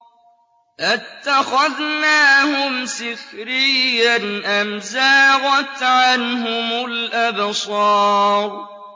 أَتَّخَذْنَاهُمْ سِخْرِيًّا أَمْ زَاغَتْ عَنْهُمُ الْأَبْصَارُ